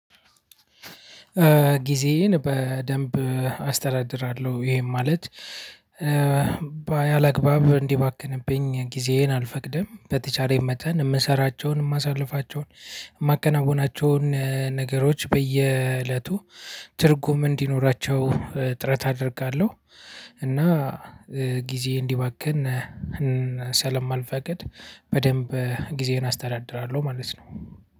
ጊዜዬን በደንብ አስተዳድራለሁ፤ ይሄም ማለት ባያላግባብ እንዲባክንብኝ ጊዜዬን አልፈቅድም፤ በተቻለኝ መጠን የምንሰራቸውን፣ የማሳልፋቸውን፣ የማከናዉናቸውን ነገሮች በየእለቱ ትርጉም እንዲኖራቸው ጥረት አደርጋለሁ። እና ጊዜ እንዲባክን ሰለማልፈቅድ በደንብ ጊዜዬን አስተዳድራለሁ ማለት ነው፤